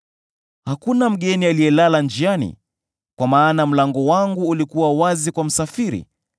Lakini hakuna mgeni aliyelala njiani, kwa maana mlango wangu ulikuwa wazi kwa msafiri;